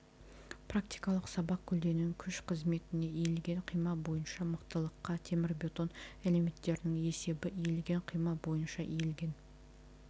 практикалық сабақ көлденең күш қызметіне иілген қима бойынша мықтылыққа темірбетон элементтерінің есебі иілген қима бойынша иілген